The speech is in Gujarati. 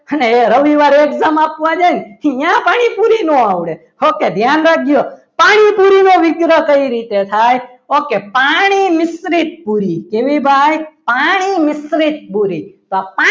અને એ રવિવારે exam આપવા જાય ને પછી ત્યાં પાણીપુરી ના આવડે okay ધ્યાન રાખજો પાણીપુરીનો વિગ્રહ કેવી રીતે થાય ઓકે પાણી મિશ્રિત પુરી કેવી ભાઈ પાણી મિશ્રિત પુરી તો આ પાણી